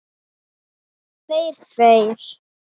Munnur hans hvítur.